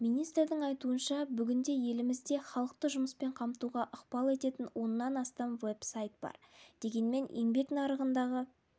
министрдің айтуынша бүгінде елімізде халықты жұмыспен қамтуға ықпал ететін оннан астам веб-сайт бар дегенмен еңбек нарығындағы